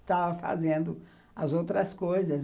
estava fazendo as outras coisas.